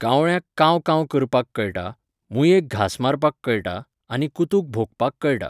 कावळ्याक कांव कांव करपाक कळटा, मूयेक घास मारपाक कळटा आनी कुतूक भोंकपाक कळटा.